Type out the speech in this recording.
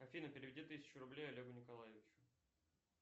афина переведи тысячу рублей олегу николаевичу